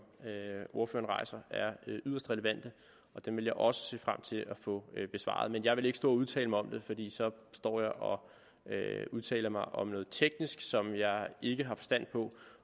ordføreren rejser er yderst relevante og dem vil jeg også se frem til at få besvaret men jeg vil ikke stå og udtale mig om det fordi så står jeg og udtaler mig om noget teknisk som jeg ikke har forstand på